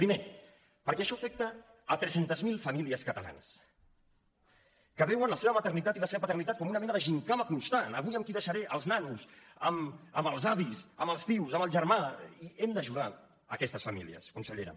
primer perquè això afecta tres cents miler famílies catalanes que veuen la seva maternitat i la seva paternitat com una mena de gimcana constant avui amb qui deixaré els nanos amb els avis amb els oncles amb el germà i hem d’ajudar aquestes famílies consellera